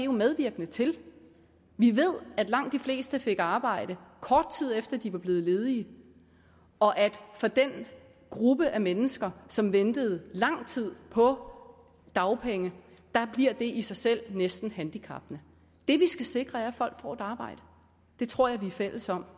medvirkende til vi ved at langt de fleste fik arbejde kort tid efter at de var blevet ledige og at for den gruppe af mennesker som venter lang tid på dagpenge bliver det i sig selv næsten handicappende det vi skal sikre er at folk får et arbejde det tror jeg vi er fælles om